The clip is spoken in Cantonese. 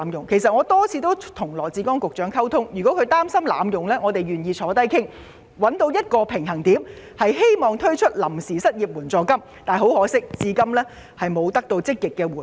我曾多次與羅致光局長溝通，如果他擔心計劃會被濫用，我們願意一同商討，以尋求推出臨時失業援助金的平衡點。